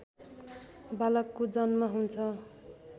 बालकको जन्म हुन्छ